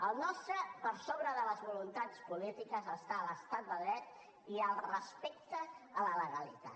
al nostre per sobre de les voluntats polítiques hi ha l’estat de dret i el respecte a la legalitat